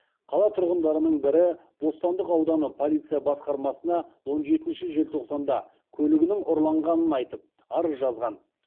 қала тұрғындарының бірі бостандық ауданы полиция басқармасына он жетінші желтоқсанда көлігінің ұрланғанын айтып арыз жазған